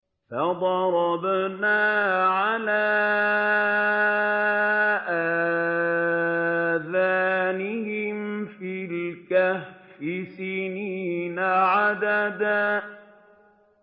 فَضَرَبْنَا عَلَىٰ آذَانِهِمْ فِي الْكَهْفِ سِنِينَ عَدَدًا